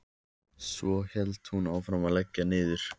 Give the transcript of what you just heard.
Svo hélt hún áfram að leggja niður.